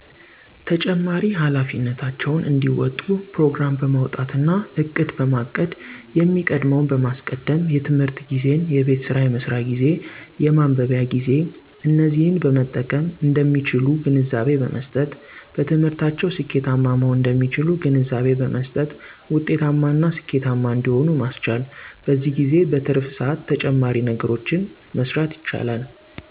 ተጨማሪ ሃላፊነታቸውን እንዲወጡ ፕሮግራም በማዉጣትና እቅድ፣ በማቀድየሚቀድመዉን በማስቀደም የትምህርት ጊዜን የቤትሥራ የመስሪያ ጊዜ፣ የማንበቢያ ጊዜ፣ እነዚህን በመጠቀምእንደሚችሉ ግንዛቤ በመ ሥጠት በትምህርታቸዉስኬታማ መሆን እንደሚችሉ ግንዛቤ በመሥጠት ዉጤታማ እና ስኬታማ እንደሚሆኑ ማሥቻል። በዚህም ጊዜ በትርፍ ስዓት ተጨማሪ ነገሮችን መሥራት ይቻላል።